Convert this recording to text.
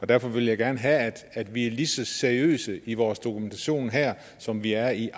derfor vil jeg gerne have at vi er lige så seriøse i vores dokumentation her som vi er i